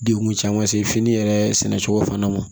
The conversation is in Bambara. Degun caman se fini yɛrɛ sɛnɛcogo fana ma